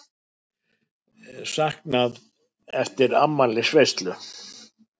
Saknað eftir afmælisveislu